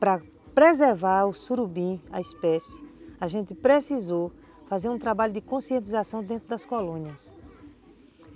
Para preservar o surubim, a espécie, a gente precisou fazer um trabalho de conscientização dentro das colônias.